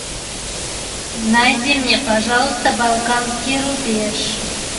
найди мне пожалуйста балканский рубеж